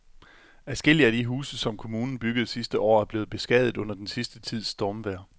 Adskillige af de huse, som kommunen byggede sidste år, er blevet beskadiget under den sidste tids stormvejr.